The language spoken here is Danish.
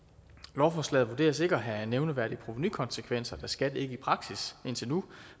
lovforslaget vurderes ikke at have nævneværdige provenukonsekvenser da skat ikke i praksis indtil nu